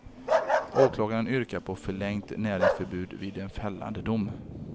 Åklagaren yrkar på förlängt näringsförbud vid en fällande dom.